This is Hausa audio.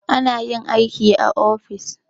Ana yin aiki a ofis.